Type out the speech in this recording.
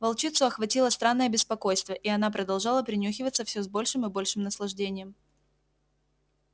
волчицу охватило странное беспокойство и она продолжала принюхиваться всё с большим и большим наслаждением